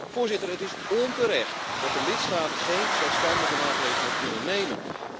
Voorzitter, het is onterecht dat de lidstaten geen zelfstandige maatregelen kunnen nemen.